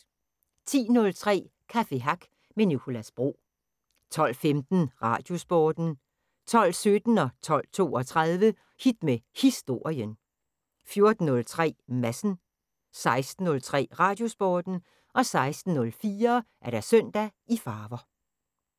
10:03: Café Hack med Nicolas Bro 12:15: Radiosporten 12:17: Hit med Historien 12:32: Hit med Historien 14:03: Madsen 16:03: Radiosporten 16:04: Søndag i farver